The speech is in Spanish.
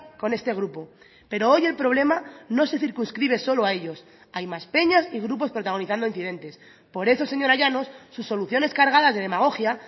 con este grupo pero hoy el problema no se circunscribe solo a ellos hay más peñas y grupos protagonizando incidentes por eso señora llanos sus soluciones cargadas de demagogia